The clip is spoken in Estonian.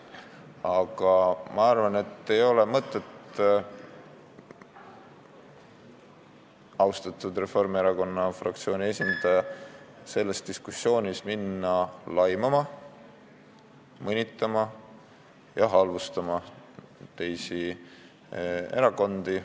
Aga ma arvan, et ei ole mõtet, austatud Reformierakonna fraktsiooni esindaja, selles diskussioonis hakata laimama, mõnitama ja halvustama teisi erakondi.